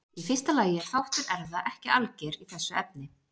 Í fyrsta lagi er þáttur erfða ekki alger í þessu efni.